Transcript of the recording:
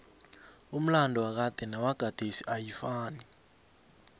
umlado wakade nowagadesi ayifanai